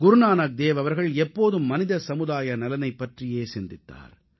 குருநானக் தேவ் அவர்கள் எப்போதும் மனித சமுதாய நலனைப் பற்றியே சிந்தித்தார்